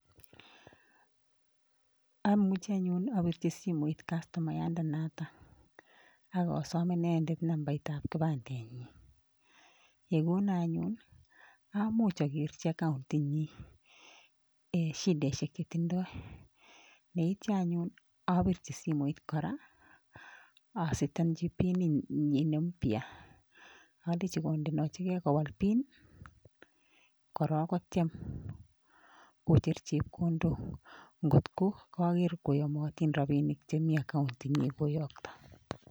Amuchi anyun abirchi simoit kastomayandenoto ak asom inendet nambait ab kipandenyin. Ye konon anyun amuch ogerchi account inyin shidaishek chetindoi yeityo anyun abirchi simoit kora asetenji PIN inyin ne mpya alenji kondechigen kowal PIN korong kotyem kocher chepkondok ngotko koger koyomotin rabinik che mi account inyin koyokto.